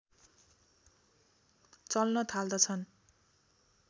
चल्न थाल्दछन्